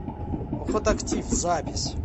охотактив запись